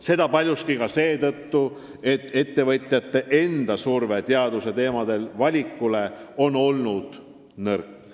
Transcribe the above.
Seda paljuski ka seetõttu, et ettevõtjate surve teaduse teemade valikule on olnud nõrk.